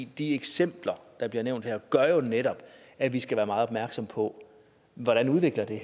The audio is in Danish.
de eksempler der bliver nævnt her gør jo netop at vi skal være meget opmærksomme på hvordan udviklingen i